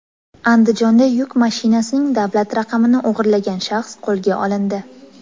Andijonda yuk mashinasining davlat raqamini o‘g‘irlagan shaxs qo‘lga olindi.